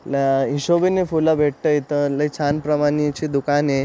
बया हिशोबीन फूल भेटत इथ लय छान प्रमाणे ची दुकान ये--